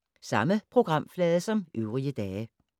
Samme programflade som øvrige dage